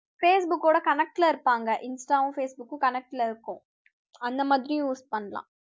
facebook ஓட connect ல இருப்பாங்க insta வும் facebook ம் connect ல இருக்கும் அந்த மாதிரியும் use பண்ணலாம்